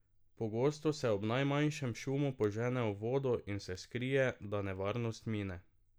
Pogosto se ob najmanjšem šumu požene v vodo in se skrije, da nevarnost mine.